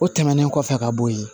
O tɛmɛnen kɔfɛ ka bɔ yen